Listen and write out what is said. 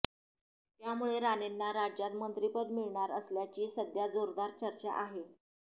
त्यामुळे राणेंना राज्यात मंत्रिपद मिळणार असल्याची सध्या जोरदार चर्चा आहे